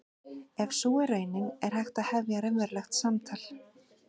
Ef sú er raunin er hægt að hefja raunverulegt samtal.